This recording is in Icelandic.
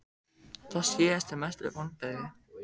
Sá síðasti Mestu vonbrigði?